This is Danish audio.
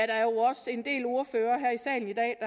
der er jo også en del ordførere her i salen i dag